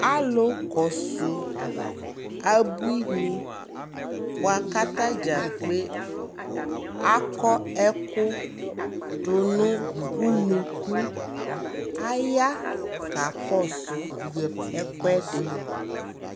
Alu kɔsu abui ni bua ka ta dza kpe ɛku du nu unuku Aya ka kɔ su ɛkuɛdi